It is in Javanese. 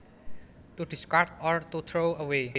To discard or to throw away